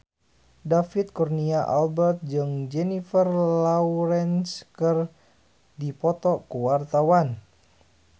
David Kurnia Albert jeung Jennifer Lawrence keur dipoto ku wartawan